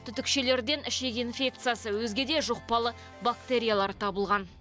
түтікшелерден ішек инфекциясы өзге де жұқпалы бактериялар табылған